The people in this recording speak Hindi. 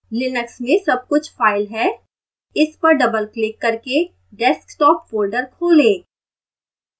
लिनक्स में सबकुछ file है इस पर डबलक्लिक करके desktop folder खोलें